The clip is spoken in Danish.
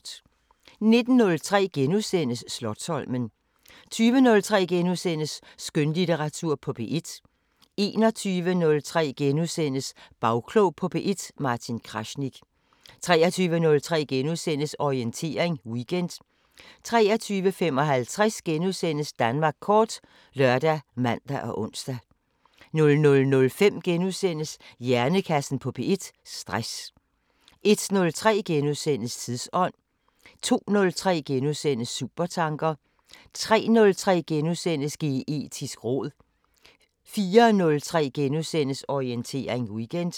19:03: Slotsholmen * 20:03: Skønlitteratur på P1 * 21:03: Bagklog på P1: Martin Krasnik * 23:03: Orientering Weekend * 23:55: Danmark kort *( lør, man, ons) 00:05: Hjernekassen på P1: Stress * 01:03: Tidsånd * 02:03: Supertanker * 03:03: Geetisk råd * 04:03: Orientering Weekend *